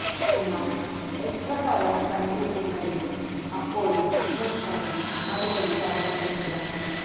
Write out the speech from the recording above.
എന്നാല് എത്ര തവണ കണ്ടു എന്നതിന് അപ്പോഴും ഉമ്മന്ചാണ്ടി മറുപടി പറഞ്ഞിരുന്നില്ല